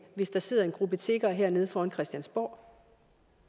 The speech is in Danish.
hvis der sidder en gruppe tiggere hernede foran christiansborg